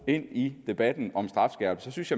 ind i debatten om strafskærpelse synes